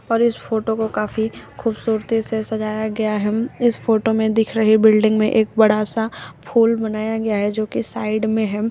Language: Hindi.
और इस फोटो को काफी खूबसूरती से सजाया गया है इस फोटो में दिख रही बिल्डिंग में एक बड़ा सा फूल बनाया गया है जो की साइड में है।